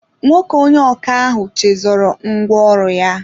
Nwoke onye ọkà ahụ chezọrọ ngwa ọrụ ya